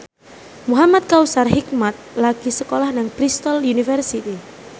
Muhamad Kautsar Hikmat lagi sekolah nang Bristol university